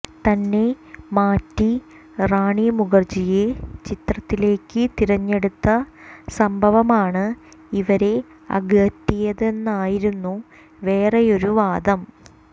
തന്നെ മാറ്റി റാണി മുഖര്ജിയെ ചിത്രത്തിലേക്ക് തിരഞ്ഞടുത്ത സംഭവമാണ് ഇവരെ അകറ്റിയതെന്നായിരുന്നു വേറെയൊരു വാദം